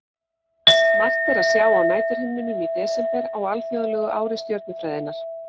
Margt er að sjá á næturhimninum í desember á alþjóðlegu ári stjörnufræðinnar.